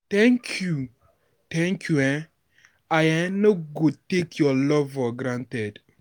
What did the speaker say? Thank you, Thank you um, I um no go take your love for granted.